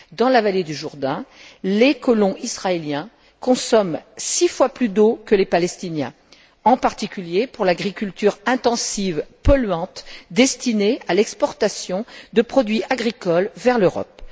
Dans la vallée du Jourdain, les colons israéliens consomment six fois plus d'eau que les Palestiniens, en particulier pour l'agriculture intensive polluante destinée à l'exportation de produits agricoles vers l'Europe.